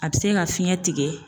A bi se ka fiɲɛ tigɛ